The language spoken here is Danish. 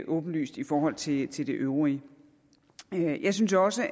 åbenlyst i forhold til til det øvrige jeg synes også